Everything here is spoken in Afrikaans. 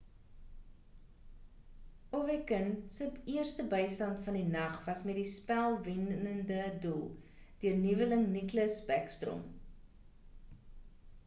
ovechkin se eerste bystand van die nag was met die spel-wennede doel deur nuweling nicklas backstrom